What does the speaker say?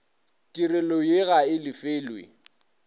tirelo ye ga e lefelwe